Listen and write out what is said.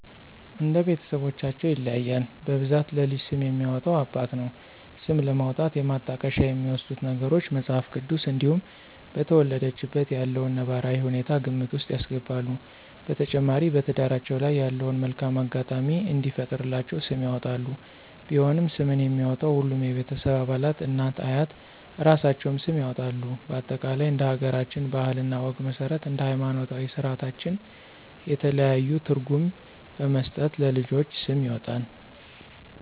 እንደ ቤተስቦቻቸው ይለያያል በብዛት ለልጅ ስም የሚያወጣ አባት ነው። ስም ለማውጣት የማጣቀሻ የሚወስዱት ነገሮች:- መጽሐፍ ቅዱስ እንዲሁም በተወለደችበት ያለውን ነባራዊ ሁኔታ ግምት ውስጥ ያስገባሉ። በተጨማሪ በትዳራቸው ላይ ያለውን መልካም አጋጣሚ እንዲፈጥርላቸው ስም ያወጣሉ። ቢሆንም ስምን የሚያወጣው ሁሉም የቤተሰብ አባላት እናት፤ አያት እራሳቸውም ስም ያወጣሉ በአጠቃላይ እንደ ሀገራችን ባህል እና ወግ መስረት እንደ ሀይማኖታዊ ስራታችን የተለያዩ ትርጉም በመስጠት ለልጆች ስም ይወጣል